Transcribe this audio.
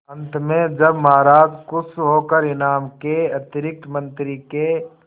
अंत में जब महाराज खुश होकर इनाम के अतिरिक्त मंत्री के